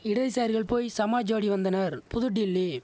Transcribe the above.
இடதுசாரிகள் போய் சமாஜ்வாடி வந்தனர் புதுடில்லி